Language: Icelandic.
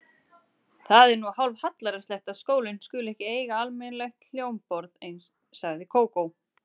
Það er nú hálfhallærislegt að skólinn skuli ekki eiga almennilegt hljómborð sagði Kókó.